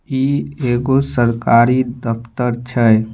ई एको सरकारी दफ्तर छे।